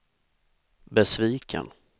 besviken